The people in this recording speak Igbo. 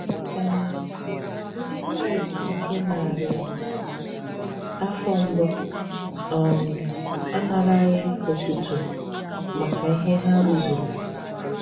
um Ndị Kraịst nke narị afọ mbụ um anaraghị otuto maka ihe ha rụzuru.